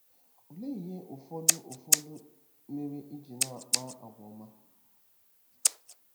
Olee ihe ụfọdụ ụfọdụ mere i ji na-akpa àgwà ọma?